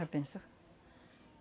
pensou?